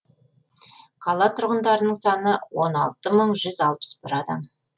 қала тұрғындарының саны он алты мың жүз алпыс бір адам